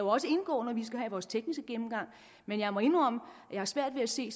også indgå når vi skal have vores tekniske gennemgang men jeg må indrømme at jeg har svært ved at se